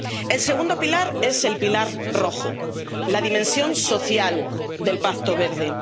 El segundo pilar es el pilar rojo, la dimensión social del Pacto Verde.